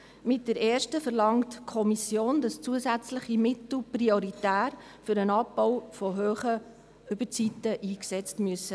Mit der ersten verlangt die Kommission, dass zusätzliche Mittel prioritär für den Abbau hoher Überzeiten eingesetzt werden müssen.